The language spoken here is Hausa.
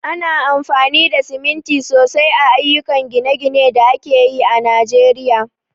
Ana amfani da siminti sosai a ayyukan gine-ginen da ake yi a Najeriya.